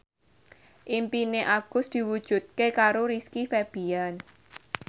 impine Agus diwujudke karo Rizky Febian